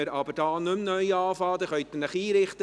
Gut, dann beginnen wir hier aber nicht neu.